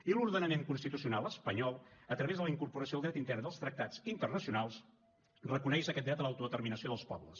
i l’ordenament constitucional espanyol a través de la incorporació del dret intern dels tractats internacionals reconeix aquest dret a l’auto determinació dels pobles